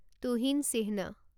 তুহিন চিহ্ন